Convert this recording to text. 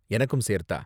எனக்கும் சேர்த்தா?